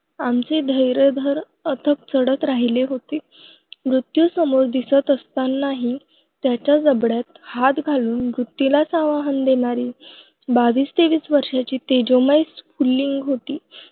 आमचे धैर्यधर अथक चढत राहिले होते. मृत्यू समोर दिसत असतानाही त्याच्या जबड्यात हात घालून मृत्यूलाच आव्हान देनारी बावीसतेवीस वर्षांची तेजोमय स्फुल्लिंगं होती.